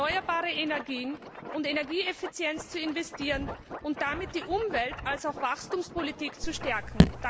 in erneuerbare Energien und Energieeffizienz zu investieren und damit die Umwelt als auch die Wachstumspolitik zu stärken.